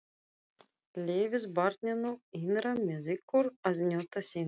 Leyfið barninu innra með ykkur að njóta sín.